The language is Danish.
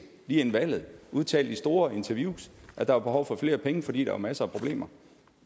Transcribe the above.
lige inden valget og udtalte i store interviews at der var behov for flere penge fordi der var masser af problemer